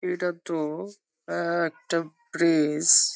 এটাতো-ও এ-একটা ব্রিজ ।